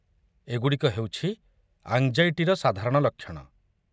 ଏଗୁଡ଼ିକ ହେଉଛି ଆଙ୍ଗ୍‌ଜାଇଟିର ସାଧାରଣ ଲକ୍ଷଣ।